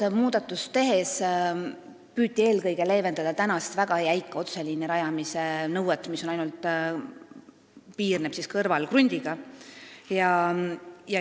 Seda muudatust tehes püüti eelkõige leevendada väga jäika otseliini rajamise nõuet, et see võib piirneda ainult kõrvalkrundiga.